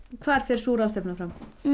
hvar fer sú ráðstefna fram